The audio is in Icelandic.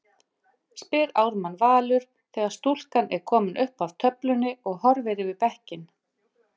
spyr Ármann Valur þegar stúlkan er komin upp að töflunni og horfir yfir bekkinn.